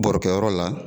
Bɔrɔkɛyɔrɔ la